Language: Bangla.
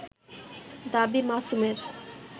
দাবী মাসুমের